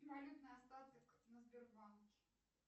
валютный остаток на сбербанке